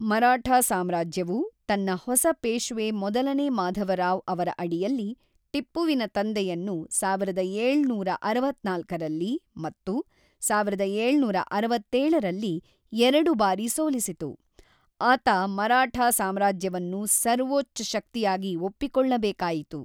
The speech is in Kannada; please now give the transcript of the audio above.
ಮರಾಠಾ ಸಾಮ್ರಾಜ್ಯವು, ತನ್ನ ಹೊಸ ಪೇಶ್ವೆ ಮೊದಲನೇ ಮಾಧವರಾವ್ ಅವರ ಅಡಿಯಲ್ಲಿ, ಟಿಪ್ಪುವಿನ ತಂದೆಯನ್ನು ಸಾವಿರದ ಏಳುನೂರ ಅರವತ್ತ್ನಾಲ್ಕರಲ್ಲಿ ಮತ್ತು ಸಾವಿರದ ಏಳುನೂರ ಅರವತ್ತೇಳರಲ್ಲಿ ಎರಡು ಬಾರಿ ಸೋಲಿಸಿತು, ಆತ ಮರಾಠಾ ಸಾಮ್ರಾಜ್ಯವನ್ನು ಸರ್ವೋಚ್ಚ ಶಕ್ತಿಯಾಗಿ ಒಪ್ಪಿಕೊಳ್ಳಬೇಕಾಯಿತು.